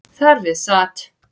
Þar við sat